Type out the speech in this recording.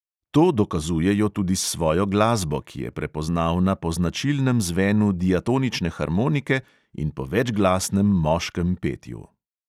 To dokazujejo tudi s svojo glasbo, ki je prepoznavna po značilnem zvenu diatonične harmonike in po večglasnem moškem petju.